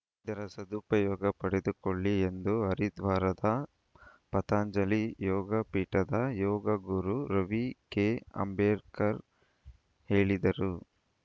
ಇದರ ಸದುಪಯೋಗ ಪಡೆದುಕೊಳ್ಳಿ ಎಂದು ಹರಿದ್ವಾರದ ಪತಂಜಲಿ ಯೋಗ ಪೀಠದ ಯೋಗ ಗುರು ರವಿ ಕೆಅಂಬೇಕರ್‌ ಹೇಳಿದರು